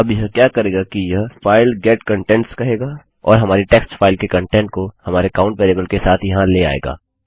अब यह क्या करेगा कि यह file get contents कहेगा और हमारी टेक्स्ट फाइल के कंटेंट्स को हमारे काउंट वेरिएबल के साथ यहाँ ले आएगा